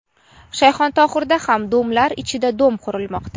Shayxontohurda ham "domlar ichra dom" qurilmoqda.